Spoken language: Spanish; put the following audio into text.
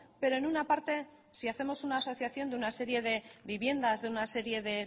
pero en una parte si hacemos asociación de una serie de viviendas de una serie de